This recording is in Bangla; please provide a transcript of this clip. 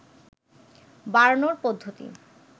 বাড়ানোর পদ্ধতি